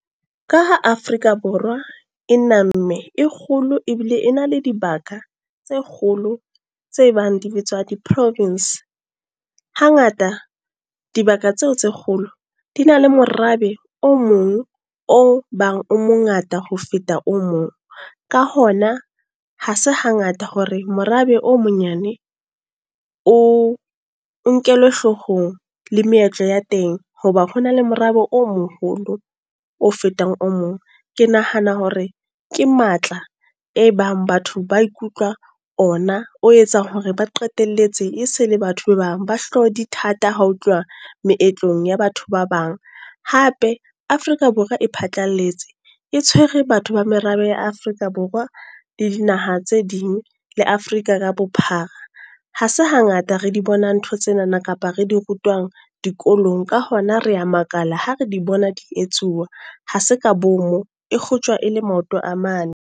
Ka ha Afrika Borwa, e na mme, e kgolo ebile e na le dibaka tse kgolo tse bang di bitswa di Province. Ha ngata, dibaka tseo tse kgolo di na le morabe o mong o bang o mongata ho feta o mong. Ka hona, ha se hangata hore morabe o monyane, o nkelwe hloohong le meetlo ya teng. Hoba ho na le morabe o moholo o fetang o mong. Ke nahana hore ke matla e bang batho ba ikutlwa ona. O etsang hore ba qetelletse e se le batho ba bang ba hlooho di thata ha ho tluuwa meetlong ya batho ba bang. Hape Afrika Borwa e phatlalletse, e tshwere batho ba merabe ya Afrika Borwa, le dinaha tse ding le Afrika ka bophara. Ha se hangata re di bonang ntho tsenana kapa re di rutwang dikolong. Ka hona re ya makala ha re di bona di etsuwa. Ha se ka bomo e kgotjwa e le maoto a mane.